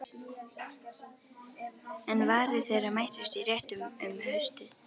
En varir þeirra mættust í réttum um haustið.